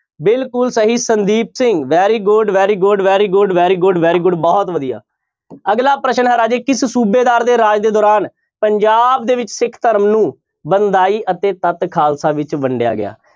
ਬਿਲਕੁਲ ਸਹੀ Sandeep Singh very good, very good, very good, very good, very good ਬਹੁਤ ਵਧੀਆ ਅਗਲਾ ਪ੍ਰਸ਼ਨ ਹੈ ਰਾਜੇ ਕਿਸ ਸੂਬੇਦਾਰ ਦੇ ਰਾਜ ਦੇ ਦੌਰਾਨ ਪੰਜਾਬ ਦੇ ਵਿੱਚ ਸਿੱਖ ਧਰਮ ਨੂੰ ਬੰਦਾਈ ਅਤੇ ਤੱਤ ਖਾਲਸਾ ਵਿੱਚ ਵੰਡੀਆ ਗਿਆ।